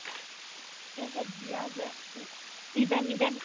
এই যে বিয়া যে উম event event